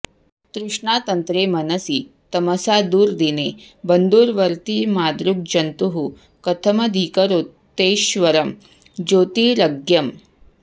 तृष्णातन्त्रे मनसि तमसा दुर्दिने बन्धुवर्ती मादृग्जन्तुः कथमधिकरोत्यैश्वरं ज्योतिरग्र्यम्